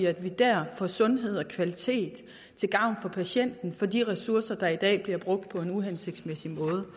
at vi der får sundhed og kvalitet til gavn for patienten for de ressourcer der i dag bliver brugt på en uhensigtsmæssig måde